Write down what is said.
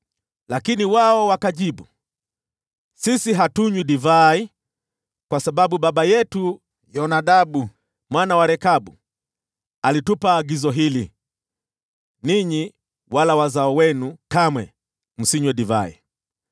Lakini wao wakajibu, “Sisi hatunywi divai, kwa sababu baba yetu Yonadabu mwana wa Rekabu, alitupa agizo hili: ‘Ninyi wala wazao wenu kamwe msinywe divai.